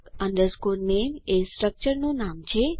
strcut name એ સ્ટ્રક્ચરનું નામ છે